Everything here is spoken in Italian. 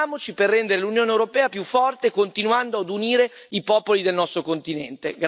Impegniamoci per rendere l'Unione europea più forte, continuando ad unire i popoli del nostro continente.